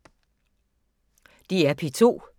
DR P2